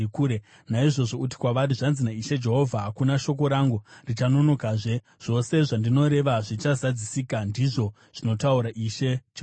“Naizvozvo uti kwavari, ‘Zvanzi naIshe Jehovha: Hakuna shoko rangu richanonokazve; zvose zvandinoreva zvichazadzisika, ndizvo zvinotaura Ishe Jehovha.’ ”